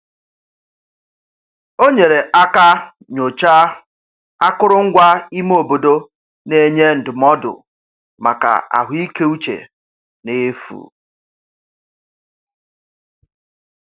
O nyere aka nyochaa akụrụngwa ime obodo na-enye ndụmọdụ maka ahụikeuche n'efu.